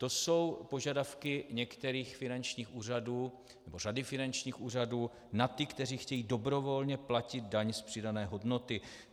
To jsou požadavky některých finančních úřadů, nebo řady finančních úřadů na ty, kteří chtějí dobrovolně platit daň z přidané hodnoty.